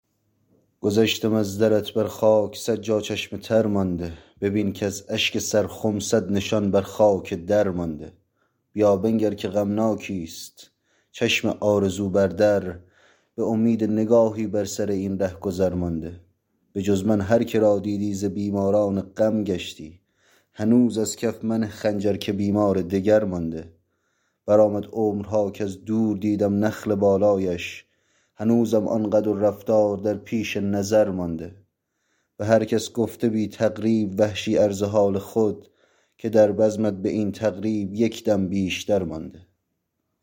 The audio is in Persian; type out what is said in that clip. گذشتم از درت بر خاک سد جا چشم تر مانده ببین کز اشک سرخم سد نشان بر خاک در مانده بیا بنگر که غمناکیست چشم آرزو بر در به امید نگاهی بر سراین رهگذر مانده بجز من هر کرا دیدی ز بیماران غم گشتی هنوز از کف منه خنجر که بیمار دگر مانده برآمد عمرها کز دور دیدم نخل بالایش هنوزم آن قد و رفتار در پیش نظر مانده به هر کس گفته بی تقریب وحشی عرض حال خود که در بزمت به این تقریب یک دم بیشتر مانده